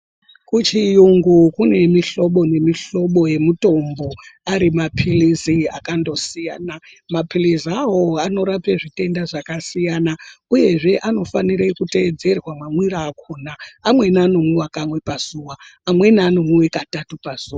Kuchiyungu kune mihlobo nemihlobo yemutombo ari mapirizi akandosiyana mapirizi awawo anorape zvitenda zvakasiyana uyezve anofanirwe kuteedzerwa mamwiro akona amweni anomwiwe kamwe pazuva amweni anomwiwe katatu pazuva.